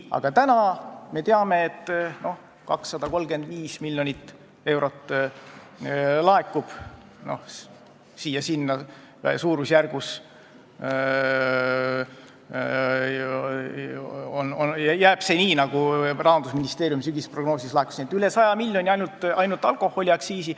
Aga täna me teame, et 235 miljonit eurot laekub, natuke siia-sinna, ja jääb nii, nagu Rahandusministeeriumi sügisprognoosis oli, et ainult alkoholiaktsiisi puhul räägime rohkem kui 100 miljonist.